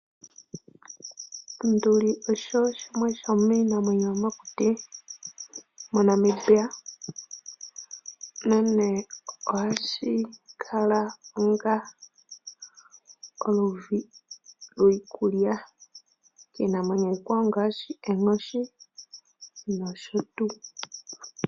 Onduli osho shimwe shomiinamweyo yomokuti moNamibia nonkee ohashikala onga iikulya yiinamwenyo iikwawo ngaashi onkoshi nsho tuu.